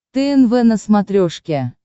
тнв на смотрешке